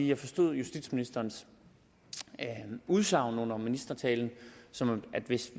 jeg forstod justitsministerens udsagn under ministertalen sådan at hvis